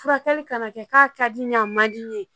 Furakɛli kan ka kɛ k'a ka di n ye a man di n ye